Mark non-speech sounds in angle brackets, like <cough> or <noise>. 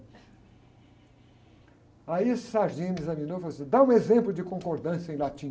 Aí, esse <unintelligible> me examinou e falou assim, dá um exemplo de concordância em latim.